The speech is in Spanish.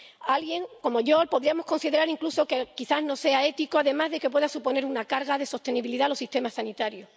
Alguien —como yo— podría considerar incluso que quizá no sea ético, además de que pueda suponer una cargar de sostenibilidad a los sistemas sanitarios.